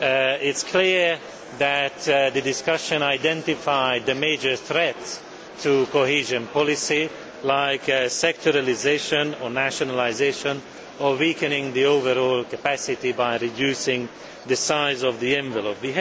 It is clear that the discussion identified the major threats to cohesion policy, such as sectoralisation or nationalisation, or weakening the overall capacity by reducing the size of the envelope.